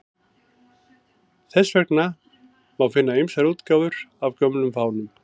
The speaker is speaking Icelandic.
Þess vegna má finna ýmsar útgáfur af gömlum fánum.